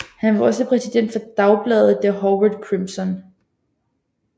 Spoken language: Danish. Han var også præsident for dagbladet The Harvard Crimson